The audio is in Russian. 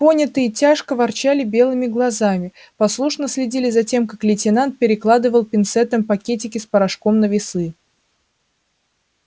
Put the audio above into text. понятые тяжко ворочали белками глаз послушно следили за тем как лейтенант перекладывал пинцетом пакетики с порошком на весы